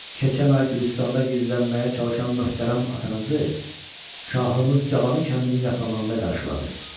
Keçən ay Gülüstanda gizlənməyə çalışan möhtərəm atanızı şahımız Cavanı kəndinin yaxınlığında qarşıladı.